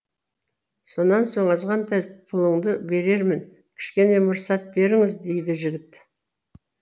сонан соң азғантай пұлыңды берермін кішкене мұрсат беріңіз дейді жігіт